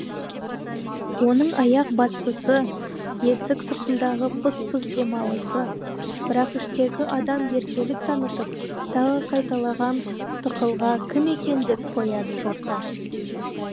оның аяқ басысы есік сыртындағы пыс пыс демалысы бірақ іштегі адам еркелік танытып тағы қайталаған тықылға кім екен деп қояды жорта